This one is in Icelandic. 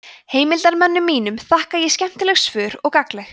heimildarmönnum mínum þakka ég skemmtileg svör og gagnleg